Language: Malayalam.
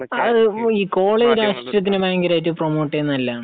അത് ഈ കോളേജ് രാഷ്ട്രീയത്തിനെ ഭയങ്കരമായിട്ട് പ്രൊമോട്ട് ചെയ്യുന്നത് നല്ലതാണ്